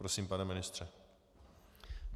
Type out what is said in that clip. Prosím, pane ministře.